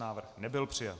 Návrh nebyl přijat.